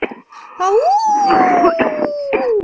ау